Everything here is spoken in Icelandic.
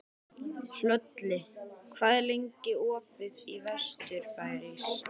Hlölli, hvað er lengi opið í Vesturbæjarís?